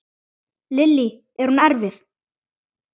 Lillý: Er hún erfið?